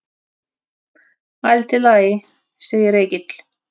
Allt í lagi, segir Egill.